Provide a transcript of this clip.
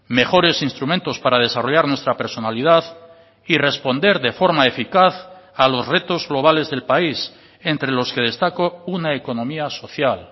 mejores instrumentos para desarrollar nuestra personalidad y responder de forma eficaz a los retos globales del país entre los que destaco una economía social